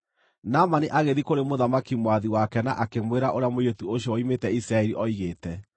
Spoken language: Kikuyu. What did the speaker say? Naamani agĩthiĩ kũrĩ mũthamaki mwathi wake na akĩmwĩra ũrĩa mũirĩtu ũcio woimĩte Isiraeli oigĩte.